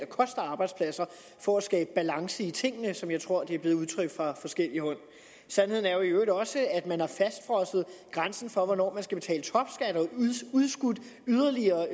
koster arbejdspladser for at skabe balance i tingene som jeg tror det er blevet udtrykt fra forskelligt hold sandheden er i øvrigt også at man har fastfrosset grænsen for hvornår man skal og udskudt yderligere